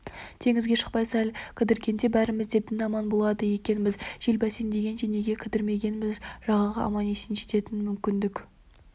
теңізге шықпай-ақ сәл кідіргенде бәріміз де дін аман болады екенбіз жел бәсеңдегенше неге кідірмегенбіз жағаға аман жететін мүмкіндік